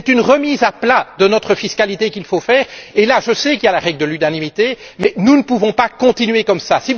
C'est une remise à plat de notre fiscalité qu'il faut faire et, là, je sais qu'il y a la règle de l'unanimité mais nous ne pouvons pas continuer comme cela.